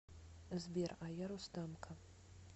сбер а я рустамка